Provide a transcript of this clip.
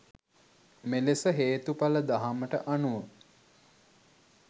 මෙලෙස හේතුඵල දහමට අනුව